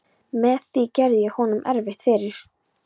Með því gerði ég honum erfitt fyrir.